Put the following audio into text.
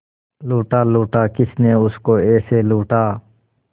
लूटा लूटा किसने उसको ऐसे लूटा